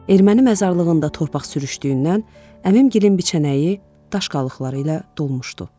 Erməni məzarlığında torpaq sürüşdüyündən əmim gilən biçənəyi daş qalıqları ilə dolmuşdu.